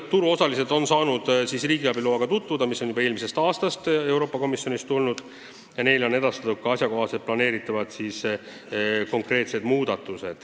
Turuosalised on saanud riigiabi loaga tutvuda, see saabus Euroopa Komisjonist eelmisel aastal.